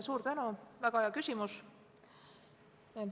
Suur tänu, väga hea küsimus!